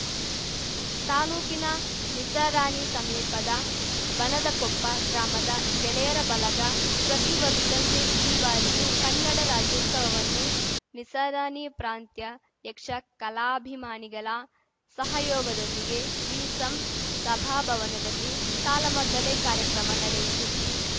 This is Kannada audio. ತಾಲೂಕಿನ ನಿಸರಾಣಿ ಸಮೀಪದ ಬನದಕೊಪ್ಪ ಗ್ರಾಮದ ಗೆಳೆಯರ ಬಲಗ ಪ್ರತಿವರ್ಷದಂತೆ ಈ ಬಾರಿಯೂ ಕನ್ನಡ ರಾಜ್ಯೋತ್ಸವವನ್ನು ನಿಸರಾಣಿ ಪ್ರಾಂತ್ಯ ಯಕ್ಷ ಕಲಾಭಿಮಾನಿಗಲ ಸಹಯೋಗದೊಂದಿಗೆ ವಿಸಂಸಭಾ ಭವನದಲ್ಲಿ ತಾಲಮದ್ದಳೆ ಕಾರ್ಯಕ್ರಮ ನಡೆಯಿತು